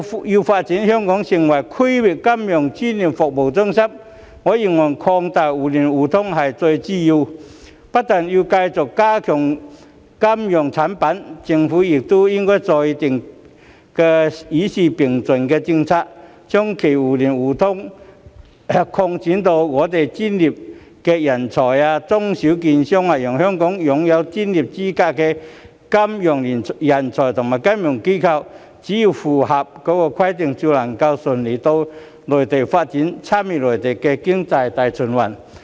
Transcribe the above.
要發展香港成為區域金融專業服務中心，我認為擴大互聯互通是至關重要，不但要繼續加強金融產品，政府亦應該制訂與時並進的政策，將其互聯互通層面擴展至我們的專業人才、中小型券商，讓香港擁有專業資格的金融人才和金融機構，只要符合規定，就能更順利到內地發展，參與內地經濟大循環。